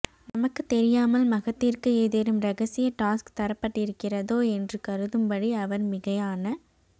நமக்கும் தெரியாமல் மஹத்திற்கு ஏதேனும் ரகசிய டாஸ்க் தரப்பட்டிருக்கிறதோ என்று கருதும்படி அவர் மிகையான